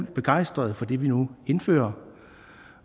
begejstrede for det vi nu indfører